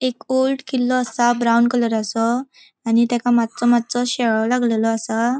एक ओल्ड किल्लो असा ब्राउन कलराचो आणि तेका मात्सो मात्सो शेळो लागलेलों असा.